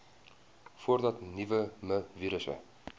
voordat nuwe mivirusse